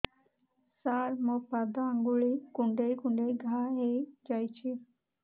ସାର ମୋ ପାଦ ଆଙ୍ଗୁଳି କୁଣ୍ଡେଇ କୁଣ୍ଡେଇ ଘା ହେଇଯାଇଛି